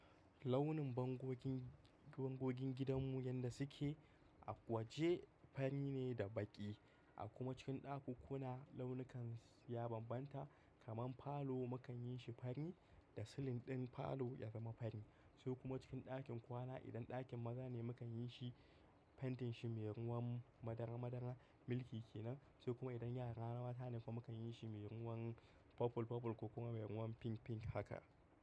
Launin bangogin, bangogin gidanmu yadda suke a waje fari ne da baƙi. A kuma cikin ɗakuna launukan ya bambanta kamar falo mu kan yin shi fari da silin ɗin falo ya zama fari. Sai kuma cikin ɗakin kwana idan ɗakin maza ne mu kan yin shi fentin shi mai ruwan madara-madara, milky ke nan. Sai kuma idan yara mata ne kuma mu kan yin shi mai ruwan purple purple ko kuma mai ruwan pink pink haka.